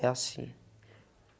É assim.